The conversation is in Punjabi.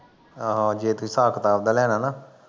ਆਹੋ ਜੇ ਤੁਸੀਂ ਹਿਸਾਬ ਕਿਤਾਬ ਦਾ ਲੈਣਾ ਨਾ